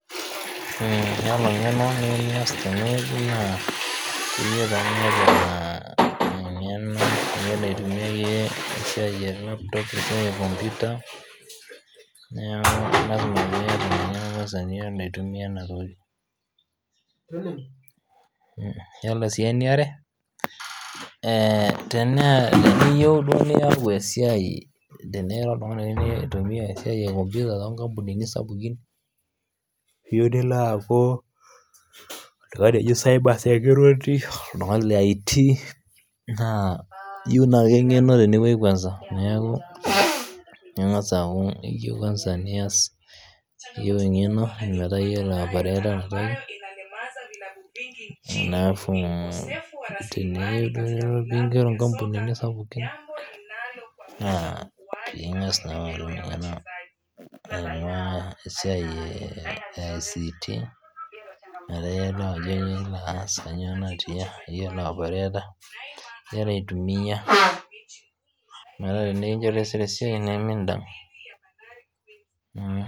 ore eniyieu nias tenewueji naa pee eyiolou aitumia laptop, kompita neeku lasima kwanza niyiolo aitumia ena toki yiolo sii eniare teniyieu duo naiku oltung'ani oitumiai esiai ee ekompita too nkampunini sapukin eyimu nilo aku cyber, security oltung'ani lee IT naa eyieu naa eng'eno tenewueji kwanza neeku keyieu kwanza nias eng'eno metaa eyiolo aiporata naa teneyie nilo mikigero nkampunini sapukin naa eng'as nalo alo ena siai IT metaa eyiolo Ajo kainyio metaa eyiolo aitumia metaa ore pee kinjorii taisere esiai nimidang